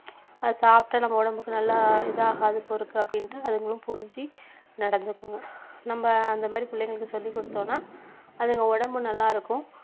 சாப்பிட்டா நம்ம உடம்புக்கு நல்லா இது ஆகாது போலிருக்கு அப்படின்னுட்டு அதுங்களும் புரிஞ்சி நடந்துக்குங்க நம்ம அந்த மாதிரி பிள்ளைங்களுக்கு சொல்லிக்கொடுத்தோம்னா அதுங்க உடம்பு நல்லாயிருக்கும்